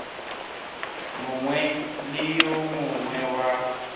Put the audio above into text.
mongwe le yo mongwe wa